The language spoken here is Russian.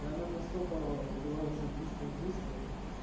и она настолько была уже близка к действию